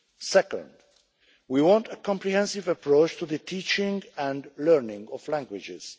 Second, we want a comprehensive approach to the teaching and learning of languages.